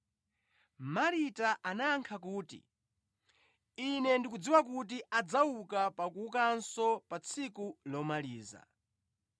Marita anayankha kuti, “Ine ndikudziwa kuti adzauka pa kuukanso pa tsiku lomaliza.”